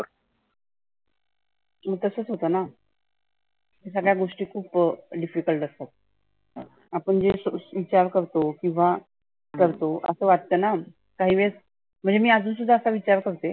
मग तसच होतंना. सगळ्या गोष्टी खुप difficult असतात. आपण जे सो विचार करतो किंवा करतो असं वाटतंना. काही वेळेस म्हणजे मी अजुन सुद्धा असा विचार करते